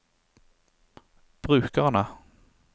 brukerne